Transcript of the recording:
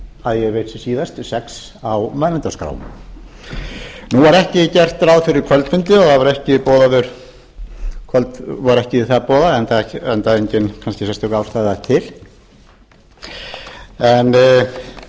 að ég veit síðast sex á mælendaskránum nú er ekki gert ráð fyrir kvöldfundi og það er ekki búið að boða hann enda kannski engin sérstök ástæða til en